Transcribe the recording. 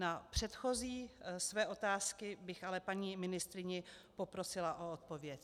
Na předchozí své otázky bych ale paní ministryni poprosila o odpověď.